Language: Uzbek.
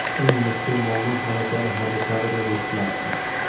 Eng mushkul muammo malakali harbiy kadrlar yetishmasdi.